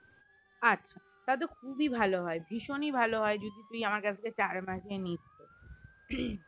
আচ্ছা তাহলে তো খুবই ভালো হয় ভীষণই ভালো হয় যদি তুই আমার কাছ থেকে চার মাসে নিস তো